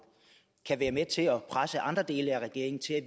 kan være med til at presse andre dele af regeringen til at